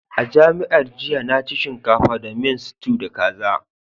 A'jamiyyar jiya na ci shinkafa da miyan stew da kaza.